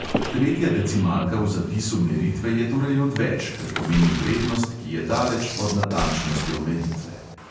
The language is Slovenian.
Tretja decimalka v zapisu meritve je torej odveč, ker pomeni vrednost, ki je daleč pod natančnostjo meritve.